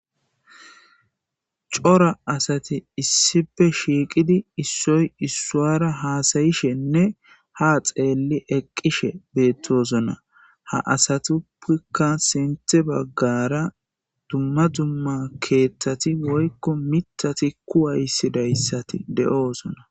cora asati issipe shiiqidi issoy issuwara haasayishenne ha xeelli eqqishe beettosona ha asatuppkka sinthe baggara dumma dumma keeththati woykko mitati kuwaysidayssati de7oosona